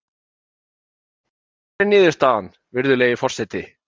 Og hver er niðurstaðan, virðulegi forseti?